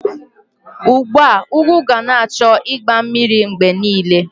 Ugbo ugu ga na-achọ igba mmiri mgbe niile